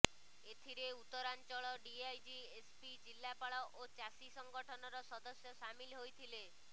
ଏଥିରେ Uttaranchal DIG SP ଜିଲ୍ଲାପାଳ ଓ ଚାଷୀ ସଙ୍ଗଠନର ସଦସ୍ୟ ସାମିଲ ହୋଇଥିଲେ